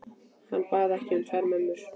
Hann bað ekki um tvær mömmur.